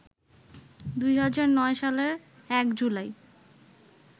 ২০০৯ সালের ১ জুলাই